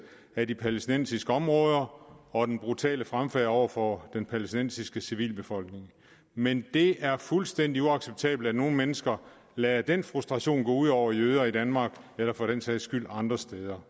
af de palæstinensiske områder og den brutale fremfærd over for den palæstinensiske civilbefolkning men det er fuldstændig uacceptabelt at nogle mennesker lader den frustration gå ud over jøder i danmark eller for den sags skyld andre steder